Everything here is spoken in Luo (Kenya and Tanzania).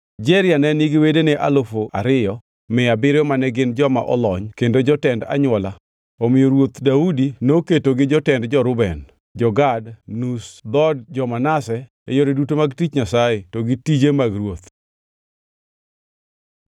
Jeria ne nigi wedene alufu ariyo mia abiriyo mane gin joma olony kendo jotend anywola, omiyo Ruoth Daudi noketogi jotend jo-Reuben, jo-Gad kod nus dhood jo-Manase e yore duto mag tich Nyasaye to gi tije mag ruoth.